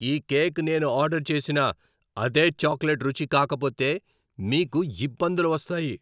ఈ కేక్ నేను ఆర్డర్ చేసిన అదే చాక్లెట్ రుచి కాకపోతే, మీకు ఇబ్బందులు వస్తాయి!